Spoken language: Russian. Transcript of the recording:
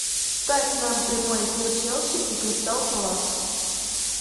ставь нам прямой эфир челси и кристал пэлас